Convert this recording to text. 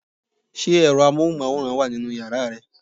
Ṣé ẹ̀rọ amóhùnmáwòrán wà nínú yàrá ẹ?